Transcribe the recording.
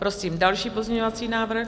Prosím další pozměňovací návrh.